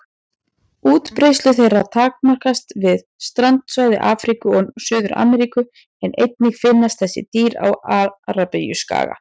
Útbreiðslu þeirra takmarkast við strandsvæði Afríku og Suður-Ameríku en einnig finnast þessi dýr á Arabíuskaga.